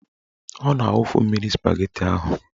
Ọ na-awufu mmiri spageti ahụ.